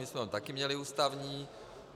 My jsme ho také měli ústavní.